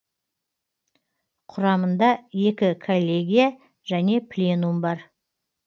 құрамында екі коллегия және пленум бар